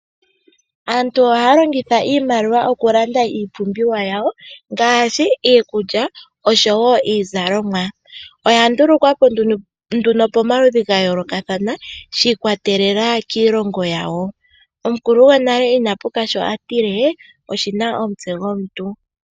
Aantu ohaya longitha iimaliwa okulanda iipumbiwa yawo ngaashi iikulya, oshowo iizalomwa. Oya ndulukwa po nduno pomaludhi ya yoolokathana shi ikwatelela kiilongo yawo. Omukulu gonale ina puka sho atile oshina omutse gomuntu.